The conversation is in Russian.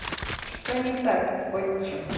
что не так отче